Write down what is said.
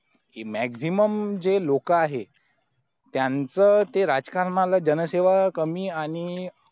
कि maximum जे लोक आहे तयांचा ते राजकरांना जनसेवा कमी आणि